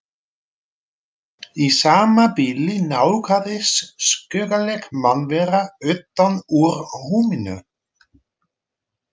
Í sama bili nálgaðist skuggaleg mannvera utan úr húminu.